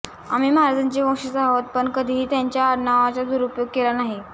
आम्ही महाराजांचे वंशज आहोत पण कधीही त्यांच्या आडनावाचा दुरुपयोग केला नाही